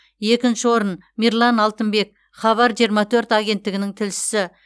екінші орын мирлан алтынбек хабар жиырма төрт агенттігінің тілшісі